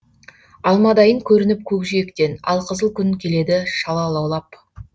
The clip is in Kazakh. алмадайын көрініп көкжиектен алқызыл күн келеді шала лаулап